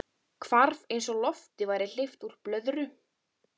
Hvarf eins og lofti væri hleypt úr blöðru.